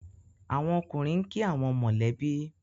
àwọn ọkùnrin nki awon mọ lẹ bi.